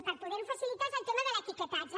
per poder ho facilitar és el tema de l’etiquetatge